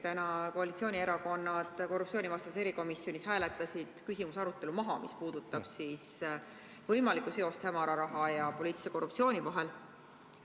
Täna hääletasid koalitsioonierakondade esindajad korruptsioonivastases erikomisjonis maha küsimuse arutelu, mis puudutanuks võimalikku seost hämara raha ja poliitilise korruptsiooni vahel.